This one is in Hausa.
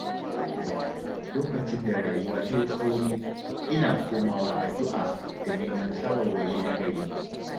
Lokacin da rayuwa ta yi tsauri, ina komawa addu’a da neman shawarwari nagari.